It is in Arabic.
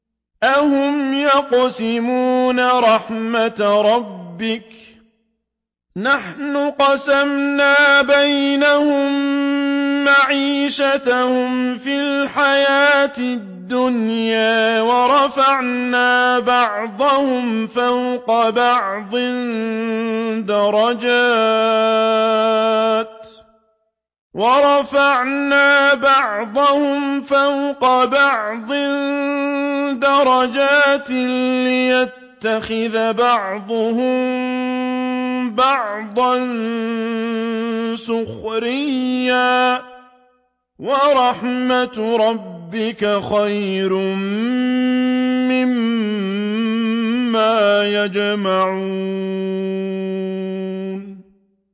أَهُمْ يَقْسِمُونَ رَحْمَتَ رَبِّكَ ۚ نَحْنُ قَسَمْنَا بَيْنَهُم مَّعِيشَتَهُمْ فِي الْحَيَاةِ الدُّنْيَا ۚ وَرَفَعْنَا بَعْضَهُمْ فَوْقَ بَعْضٍ دَرَجَاتٍ لِّيَتَّخِذَ بَعْضُهُم بَعْضًا سُخْرِيًّا ۗ وَرَحْمَتُ رَبِّكَ خَيْرٌ مِّمَّا يَجْمَعُونَ